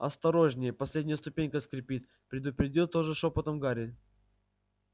осторожнее последняя ступенька скрипит предупредил тоже шёпотом гарри